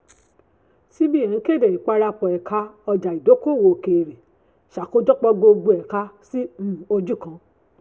cbn kéde ìparapọ̀ ẹ̀ka ọjà ìdókòwò òkèèrè ṣàkójọpọ̀ gbogbo ẹ̀ka sí um ojú kan.